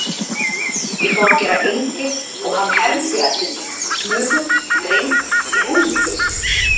Ég fór að gera engil og hann hermdi eftir mér: flugu, dreng, rúllupylsu.